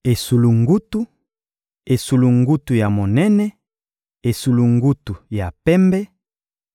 Esulungutu, esulungutu ya monene, esulungutu ya pembe,